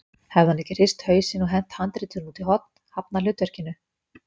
Hefði hann ekki hrist hausinn og hent handritinu út í horn, hafnað hlutverkinu?